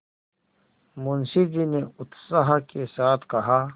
मुंशी जी ने उत्साह के साथ कहा